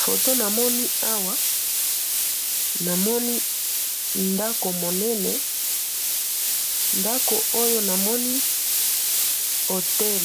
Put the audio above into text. photo namoni awa, namoni ndako monene, ndako oyo namoni, hôtel